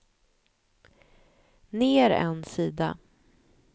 ner en sida